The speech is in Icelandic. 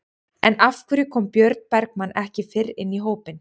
En af hverju kom Björn Bergmann ekki fyrr inn í hópinn?